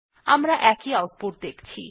আমরা একই আউটপুট দেখছি